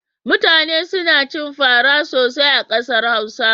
Mutane suna cin fara sosai a ƙasar Hausa.